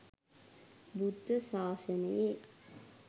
බුද්ධ ශාසනයේ